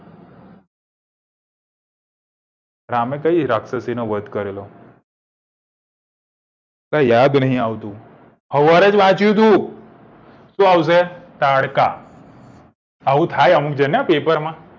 રામે કઈ રાક્ષસીનો વધ કરેલો કઈ યાદ નહિ આવતું સવારે જ વાન્ચું તું શું આવશે તારકા આવું થાય અમુક જણ ને પેપરમાં